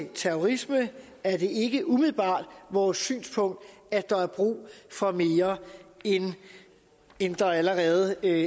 terrorisme er det ikke umiddelbart vores synspunkt at der er brug for mere end der allerede er i